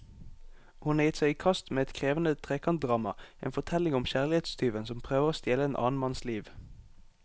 Hun har gitt seg i kast med et krevende trekantdrama, en fortelling om kjærlighetstyven som prøver å stjele en annen manns liv.